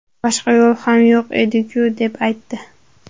Boshqa yo‘l ham yo‘q ediku”, deb aytdi.